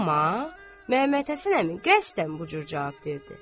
Amma Məmmədhəsən əmi qəsdən bu cür cavab verdi.